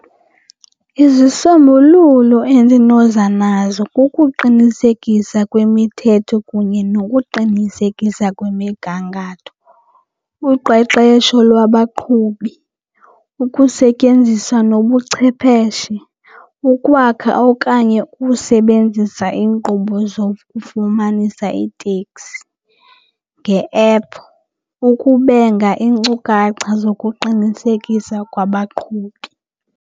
Izisombululo endinoza nazo kukuqinisekisa kwimithetho kunye nokuqinisekisa kwemigangatho. Uqeqesho lwabaqhubi, ukusetyenziswa nobuchwepheshe, ukwakha okanye ukusebenzisa iinkqubo zokufumanisa iitekisi nge-ephu, ukubenga iinkcukacha zokuqinisekisa kwabaqhubi.